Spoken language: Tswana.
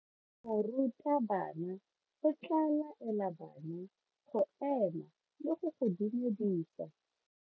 Morutabana o tla laela bana go ema le go go dumedisa.